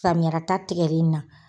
Samiyalata tigɛlen in na.